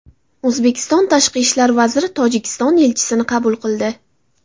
O‘zbekiston Tashqi ishlar vaziri Tojikiston elchisini qabul qildi.